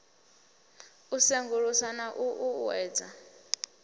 i sengulusa na u uuwedza